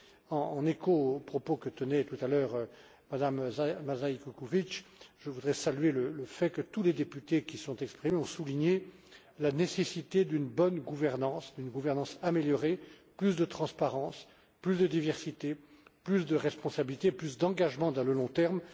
En écho aux propos que tenait tout à l'heure Mme Mazej Kukovič, je voudrais saluer le fait que tous les députés qui se sont exprimés ont souligné la nécessité d'une bonne gouvernance, d'une gouvernance améliorée, qui offrirait plus de transparence, plus de diversité, plus de responsabilité, plus d'engagement à long terme.